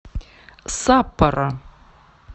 саппоро